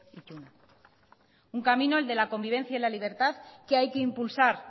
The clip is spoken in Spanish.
ituna un camino el de la convivencia y la libertad que hay que impulsar